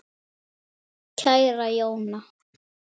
Kæra Jóna.